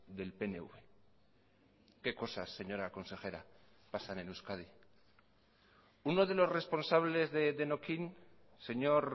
del pnv qué cosas señora consejera pasan en euskadi uno de los responsables de denokinn señor